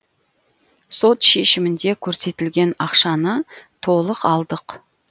сот шешімінде көрсетілген ақшаны толық алдық